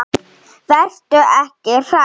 Vertu ekki hrædd.